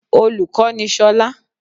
Olùkó ni solá